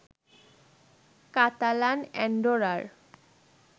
Catalan অ্যান্ডোরার